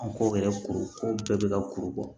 An ko yɛrɛ kuru ko bɛɛ bɛ ka kuru bɔ